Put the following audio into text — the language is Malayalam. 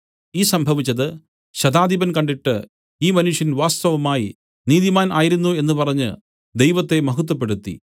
ഈ സംഭവിച്ചത് ശതാധിപൻ കണ്ടിട്ട് ഈ മനുഷ്യൻ വാസ്തവമായി നീതിമാൻ ആയിരുന്നു എന്നു പറഞ്ഞു ദൈവത്തെ മഹത്വപ്പെടുത്തി